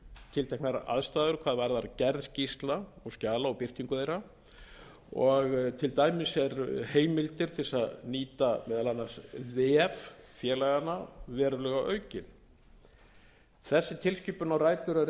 tilteknar aðstæður hvað varðar gerð skýrslna skjala og birtingu þeirra og til dæmis eru heimildir til að nýta meðal annars vef félaganna verulega auknar þessi tilskipun á rætur að